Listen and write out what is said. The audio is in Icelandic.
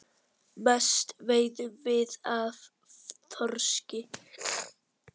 Mest veiðum við af þorski.